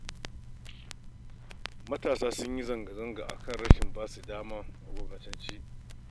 Matasa sun yi zanga-zanga a kan rashin ba su dama a gwamnatance